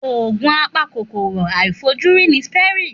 Òògùn apa kòkòrò àìfojúrí ni Septrin.